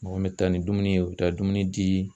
Mɔgɔ min bɛ taa ni dumuni ye u bɛ taa dumuni di.